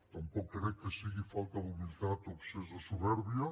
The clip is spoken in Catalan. tampoc crec que sigui falta d’humilitat o excés de supèrbia